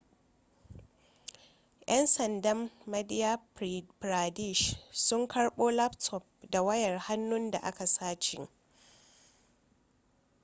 'yan sandan madhya pradesh sun karbo laptop da wayar hannu da aka sace